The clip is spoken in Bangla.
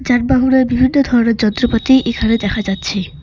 যানবাহনের বিভিন্ন ধরণের যন্ত্রপাতি এখানে দেখা যাচ্ছে।